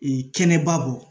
kɛnɛba bɔ